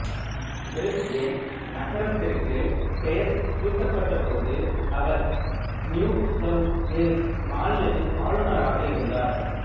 Brisbane நகரத்திற்குப் பெயர் சூட்டப்பட்டபோது அவர் நியூ சவுத் வேல்ஸ் மாநிலத்தின் ஆளுனராக இருந்தார்